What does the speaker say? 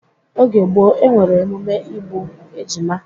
Oge gboo, e nwere emume igbu ejima